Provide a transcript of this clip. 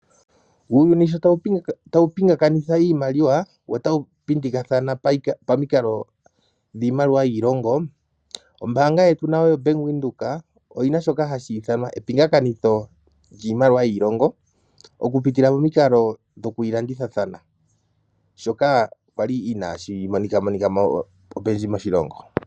Uuyuni sho tawu pingakanitha iimaliwa wo tawu pindikathana pamikalo dhiimaliwa yiilongo. Ombaanga yetu nayo yoBank Windhoek oyina shoka hashi ithanwa epingakanitho lyiimaliwa yiilongo okupitila momikalo dhoku yilandithathana, shoka kwali inaashi monikamonika mo opendji moshilongo.